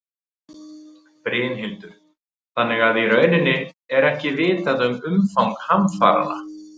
Brynhildur: Þannig að í rauninni er ekki vitað um umfang hamfaranna?